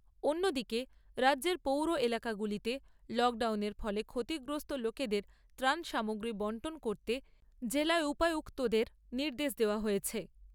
অন্য দিকে রাজ্যের পৌর এলাকাগুলিতে লকডাউনের ফলে ক্ষতিগ্রস্ত লোকেদের ত্রাণ সামগ্রী বণ্টন করতে জেলা উপযুক্তদের নির্দেশ দেওয়া হয়েছে।